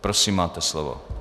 Prosím, máte slovo.